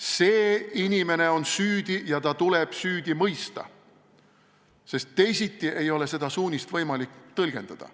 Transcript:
See inimene on süüdi ja ta tuleb süüdi mõista – teisiti ei ole seda suunist võimalik tõlgendada.